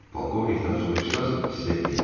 Polkovnikdən soruşsanız, sizə deyər.